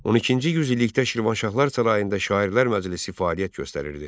On ikinci yüz illikdə Şirvanşahlar sarayında Şairlər Məclisi fəaliyyət göstərirdi.